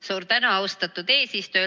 Suur tänu, austatud eesistuja!